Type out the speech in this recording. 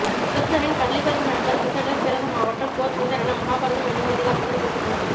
கிருஷ்ணரின் பள்ளிப்பருவ நண்பர் குசேலர் பிறந்த மாவட்டம் போர்பந்தர் என மகாபாரதம் என்னும் இதிகாசத்தில் குறிப்பிடப்பட்டுள்ளது